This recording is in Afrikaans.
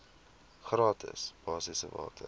gratis basiese water